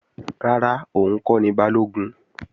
Rárá, òun kọ́ ni Balógun